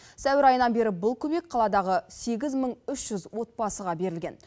сәуір айынан бері бұл көмек қаладағы сегіз мың үш жүз отбасыға берілген